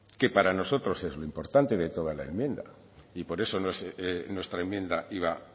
que para nosotros es muy importante de toda la enmienda y por eso nuestra enmienda iba